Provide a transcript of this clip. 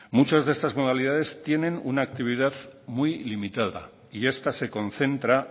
muchas de estas modalidades tienen una actividad muy limitada y esta se concentra